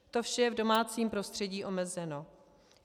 To vše je v domácím prostředí omezeno.